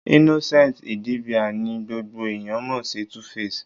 Innocent Idibia ni gbogbo ẹ̀yán mọ̀ sí Tuface.